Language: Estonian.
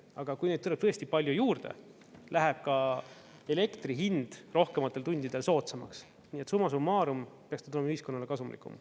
Aga kui neid tuleb tõesti palju juurde, läheb elektri hind rohkematel tundidel soodsamaks, nii et summa summarum peaks ta tulema ühiskonnale kasumlikum.